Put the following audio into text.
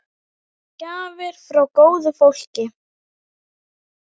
Gjafir frá góðu fólki.